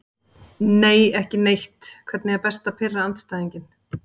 Nei, ekki neitt Hvernig er best að pirra andstæðinginn?